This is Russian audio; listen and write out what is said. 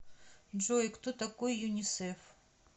джой кто такой юнисеф